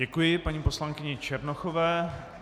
Děkuji paní poslankyni Černochové.